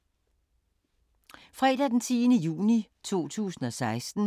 Fredag d. 10. juni 2016